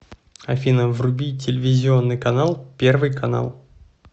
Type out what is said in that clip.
афина вруби телевизионный канал первый канал